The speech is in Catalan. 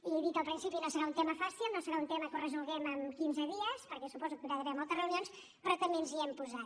he dit al principi no serà un tema fàcil no serà un tema que el resolguem en quinze dies perquè suposo que hi haurà d’haver moltes reunions però també ens hi hem posat